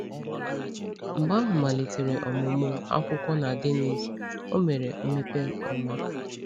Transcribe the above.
Mgbe ahụ, malitere ọmụmụ akwụkwọ na Dénnís, o mere mmepe ọma.